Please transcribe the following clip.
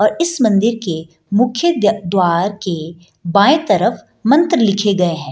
और इस मंदिर के मुख्य द्वार द्वार के बाएं तरफ मंत्र लिखे गए हैं।